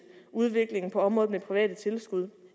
udviklingen på området med private tilskud